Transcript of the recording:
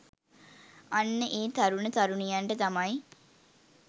අන්න ඒ තරුණ තරුණියන්ට තමයි